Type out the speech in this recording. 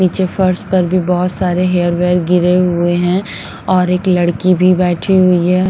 पीछे फर्श पर भी बहुत सारे हेयर वेयर गिरे हुए हैं और एक लड़की भी बैठी हुई है।